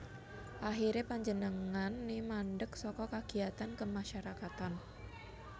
Akhiré panjenengané mandek saka kegiatan kemasyarakatan